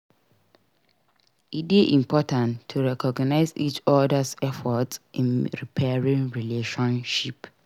E dey important to recognize each other's efforts in repairing relationships.